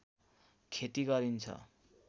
खेती गरिन्छ